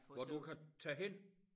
Hvor du kan tage hen